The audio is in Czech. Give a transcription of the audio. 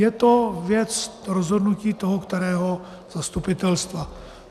Je to věc rozhodnutí toho kterého zastupitelstva.